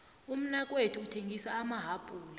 umnakethu uthengisa amahapula